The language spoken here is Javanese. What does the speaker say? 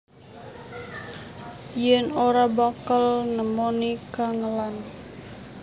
Yen ora bakal nemoni kangelan